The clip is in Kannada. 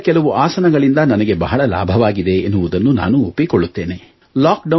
ಯೋಗದ ಕೆಲವು ಆಸನಗಳಿಂದ ನನಗೆ ಬಹಳ ಲಾಭವಾಗಿದೆ ಎನ್ನುವುದನ್ನು ನಾನು ಒಪ್ಪಿಕೊಳ್ಳುತ್ತೇನೆ